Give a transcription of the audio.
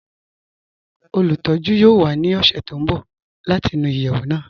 Olùtọ̀jú yoo wà ní ọṣẹ̀ tó n bọ̀ láti nú iyeẹwù náà